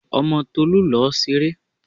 Ọmọ Tolú lọ ṣeré!